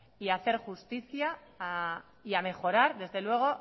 y hacer justicia y a mejorar desde luego